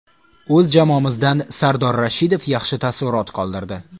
O‘z jamoamizdan Sardor Rashidov yaxshi taassurot qoldirdi.